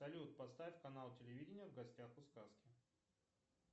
салют поставь канал телевидения в гостях у сказки